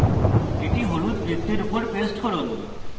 এটি হলুদ বৃত্তের উপরে পেস্ট করুন